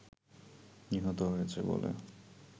নিহত হয়েছে বলে